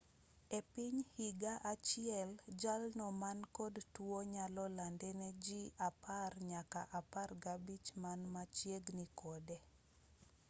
epiny higa achiel jalno mankod tuo nyalo lande ne jii 10 nyaka 15 man machiegini kode